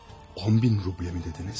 10.000 ruble mi dediniz?